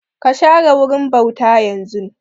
Ka share wurin bauta yanzun!